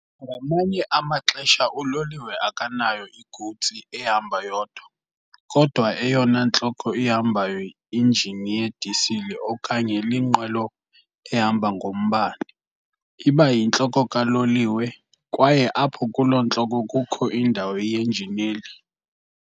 Ngamanye amaxesha uloliwe akanayo igutsi ehamba yodwa, kodwa eyona ntloko ihambayo injini yedisile okanye linqwelo ehamba ngombane iba yintloko kaloliwe, kwaye apho kulo ntloko kukho indawo yenjineli.